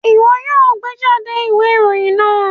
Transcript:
Wọn yoo gbejade iwe iroyin naa!